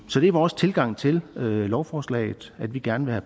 så det er vores tilgang til lovforslaget at vi gerne vil